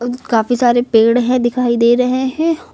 काफी सारे पेड़ है दिखाई दे रहे हैं।